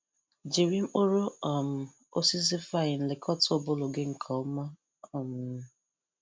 Jiri mkpụrụ um osisi vine lekọta ụbụrụ gị nke ọma. um